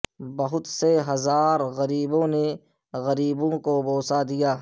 بہت سے ہزار غریبوں نے غریبوں کو بوسہ دیا